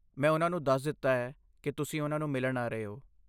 ਮੈਂ ਉਹਨਾਂ ਨੂੰ ਦੱਸ ਦਿੱਤਾ ਹੈ ਕਿ ਤੁਸੀਂ ਉਹਨਾਂ ਨੂੰ ਮਿਲਣ ਆ ਰਹੇ ਹੋ।